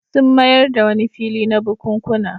Sun mayar da wani fili na bukunkuna.